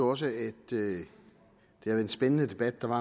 også det er en spændende debat der har